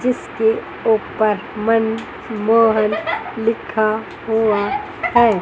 जिसके ऊपर मनमोहन लिखा हुआ है।